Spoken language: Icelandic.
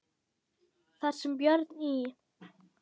Þar sem Björn í